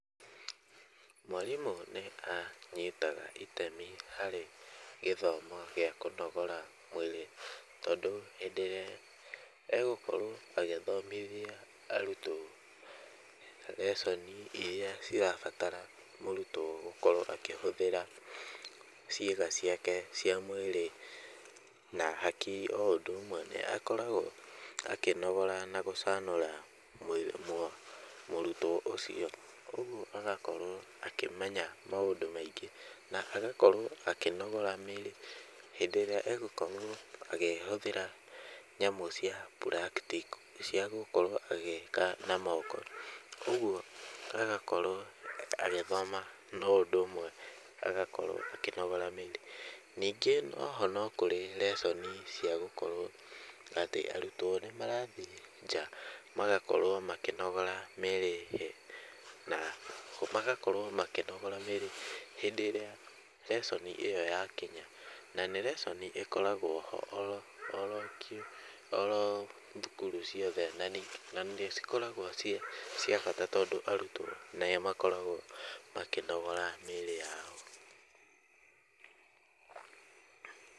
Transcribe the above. Mwarimũ nĩ anyitaga itemi harĩ gĩthomo gĩa kũnogora mwĩrĩ tondũ hĩndĩ ĩrĩa egũkorwo agĩthomithia arutwo lesson irĩa cirabatara mũrutwo gũkorwo akĩhũthĩra ciĩga ciake cia mwĩrĩ na hakiri o ũndũ ũmwe nĩ akoragwo akĩnogora na gũcanũra mũrutwo ũcio. Ũguo agakorwo akĩmenya maũndũ maingĩ na agakorwo akĩnogora mĩĩrĩ hĩndĩ ĩrĩa egũkorwo akĩhũthĩra nyamũ cia practical, cia gũkorwo agĩka na moko. Ũguo agakorwo agĩthoma no ũndũ ũmwe agakorwo akĩnogora mĩĩrĩ. Ningĩ o ho no kũrĩ lesson cia gũkorwo atĩ arutwo nĩ marathiĩ nja magakorwo makĩnogora mĩĩrĩ na magakorwo makĩnogora mĩĩrĩ hĩndĩ ĩrĩa lesson ĩyo yakinya. Na nĩ lesson ĩkoragwo ho o ro, o ro thukuru ciothe na nĩ cikoragwo cia bata tondũ arutwo nĩ makoragwo makĩnogora mĩĩrĩ yao.